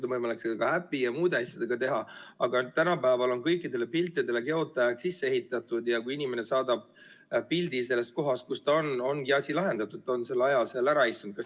Loomulikult on seda võimalik ka äpi ja muude asjadega teha, aga tänapäeval on kõikidele piltidele geotääg sisse ehitatud ja kui inimene saadab pildi sellest kohast, kus ta on, siis ongi asi lahendatud, ta on selle aja seal ära istunud.